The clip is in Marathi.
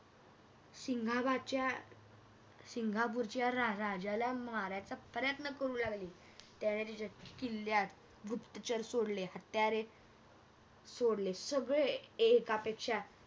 सिंगापुरच्या रा राजाला मारायचा प्रयत्न करू लागले. त्याने आह त्याच्या किल्ल्यात गुप्तचोर सोडले हत्यारे सोडले सगळे एकापेक्षा